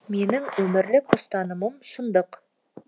менің өмірлік ұстанымым шындық